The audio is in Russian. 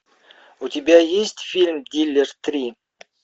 у тебя есть фильм дилер три